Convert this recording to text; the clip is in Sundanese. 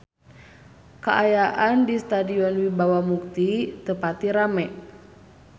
Kaayaan di Stadion Wibawa Mukti teu pati rame